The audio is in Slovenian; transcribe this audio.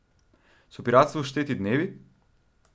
So piratstvu šteti dnevi?